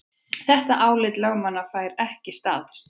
Þetta álit lögmannanna fær ekki staðist